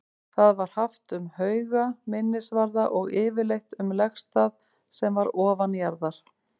Það var haft um hauga, minnisvarða og yfirleitt um legstað sem var ofanjarðar.